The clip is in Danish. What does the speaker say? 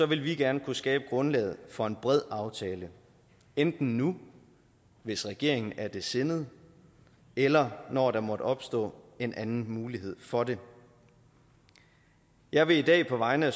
vil vi gerne kunne skabe grundlaget for en bred aftale enten nu hvis regeringen er det sindet eller når der måtte opstå en anden mulighed for det jeg vil i dag på vegne af